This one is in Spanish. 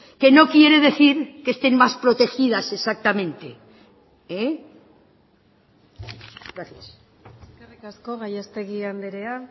que no quiere decir que estén más protegidas exactamente gracias eskerrik asko gallastegui andrea